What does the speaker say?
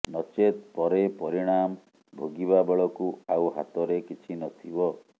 ନଚେତ୍ ପରେ ପରିଣାମ ଭୋଗିବା ବେଳକୁ ଆଉ ହାତରେ କିଛି ନଥିବ